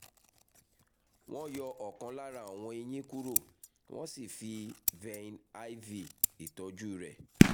wọ́n yọ ọkàn lára àwọn eyín kúrò wọ́n sì fi vein iv tọ́jú rẹ̀